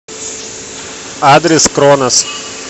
адрес кронос